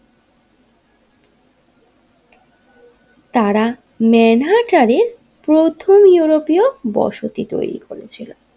তার মানহার্টারের প্রথম ইউরোপীয় বসতি তৈরী করেছিল।